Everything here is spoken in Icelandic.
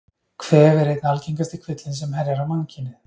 Kvef er einn algengasti kvillinn sem herjar á mannkynið.